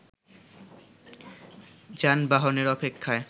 যানবাহনের অপেক্ষায়